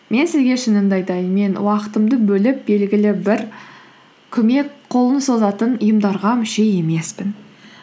мен сізге шынымды айтайын мен уақытымды бөліп белгілі бір көмек қолын созатын ұйымдарға мүше емеспін